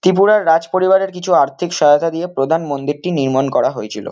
ত্রিপুরার রাজ পরিবারের কিছু আর্থিক সহায়তা দিয়ে প্রধান মন্দিরটি নির্মাণ করা হয়েছিল।